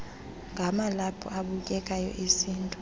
ngamalaphu abukekayo esintu